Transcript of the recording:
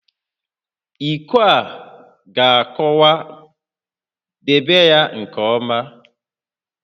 Iko a ga-akụwa, debe ya nke ọma!